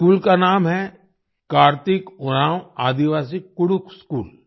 इस स्कूल का नाम है कार्तिक उराँव आदिवासी कुडुख स्कूल